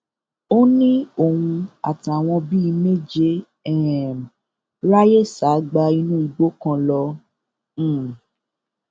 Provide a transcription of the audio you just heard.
ó ní òun àtàwọn bíi méje um ráàyè sá gba inú igbó kan lọ um